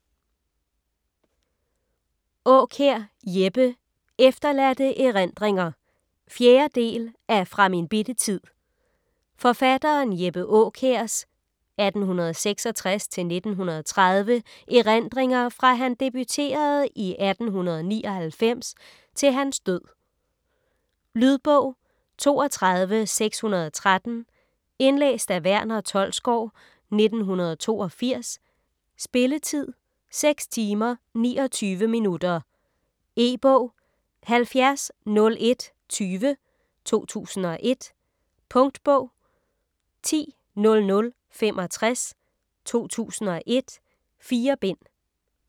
Aakjær, Jeppe: Efterladte erindringer 4. del af Fra min bitte tid. Forfatteren Jeppe Aakjærs (1866-1930) erindringer fra han debuterede i 1899 til hans død. Lydbog 32613 Indlæst af Verner Tholsgaard, 1982. Spilletid: 6 timer, 29 minutter. E-bog 700120 2001. Punktbog 100065 2001. 4 bind.